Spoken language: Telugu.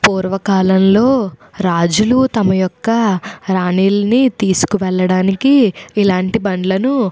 పూర్వకాలంలోని రాజులు తమ యొక్క రాణిలను తీసుకువెళ్లడానికి ఇలాంటివి బండ్లను ఉపయోగించేవారు.